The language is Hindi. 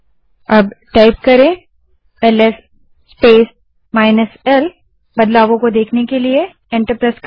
अब एलएस स्पेस -l टाइप करें और बदलाव देखने के लिए एंटर दबायें